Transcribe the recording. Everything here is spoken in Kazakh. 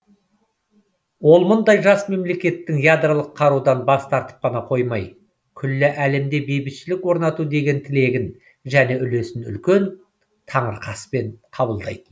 ол мұндай жас мемлекеттің ядролық қарудан бас тартып қана қоймай күллі әлемде бейбітшілік орнату деген тілегін және үлесін үлкен таңырқаспен қабылдайтын